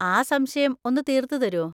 ആ സംശയം ഒന്ന് തീർത്ത് തരോ?